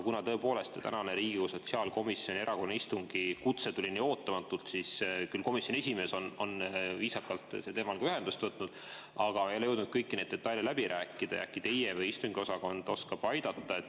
Kuna tõepoolest tänase Riigikogu sotsiaalkomisjoni erakorralise istungi kutse tuli nii ootamatult ja komisjoni esimees on küll viisakalt sel teemal ka ühendust võtnud, aga ei ole jõudnud kõiki neid detaile läbi rääkida, siis äkki teie või istungiosakond oskate aidata.